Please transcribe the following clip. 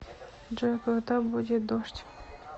джой когда будет дождь